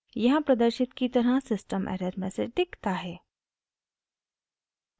यहाँ प्रदर्शित की तरह सिस्टम एरर मैसेज दिखता है